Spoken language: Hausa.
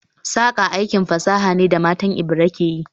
Saƙa aikin fasaha ne da matan Ebira ke yi